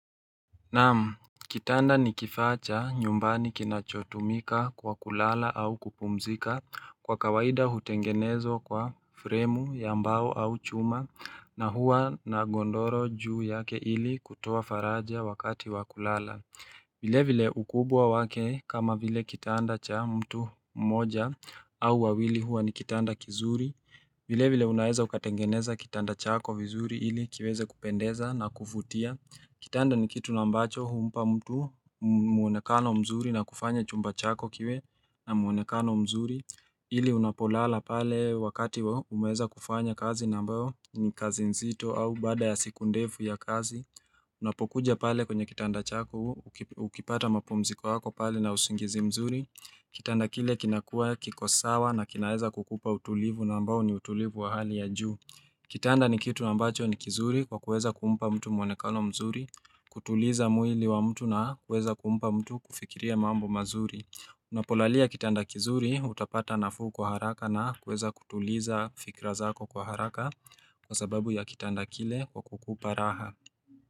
Naam, kitanda ni kifaa cha nyumbani kinachotumika kwa kulala au kupumzika kwa kawaida hutengenezwa kwa fremu ya mbao au chuma na hua na gondoro juu yake ili kutoa faraja wakati wa kulala. Vile vile ukubwa wake kama vile kitanda cha mtu mmoja au wawili huwa ni kitanda kizuri vile vile unaeza ukatengeneza kitanda chako vizuri ili kiweze kupendeza na kuvutia Kitanda ni kitu nabambacho humpa mtu muonekano mzuri na kufanya chumba chako kiwe na muonekano mzuri ili unapolala pale wakati umeweza kufanya kazi na ambayo ni kazi nzito au baada ya siku ndefu ya kazi Unapokuja pale kwenye kitanda chako, ukipata mapumziko yako pale na usingizi mzuri Kitanda kile kinakua kiko sawa na kinaweza kukupa utulivu na ambao ni utulivu wa hali ya ju Kitanda ni kitu ambacho ni kizuri kwa kuweza kumpa mtu mwonekano mzuri kutuliza mwili wa mtu na kuweza kumpa mtu kufikiria mambo mazuri Unapolalia kitanda kizuri utapata na fuu kwa haraka na kuweza kutuliza fikra zako kwa haraka Kwa sababu ya kitanda kile kwa kukupa raha.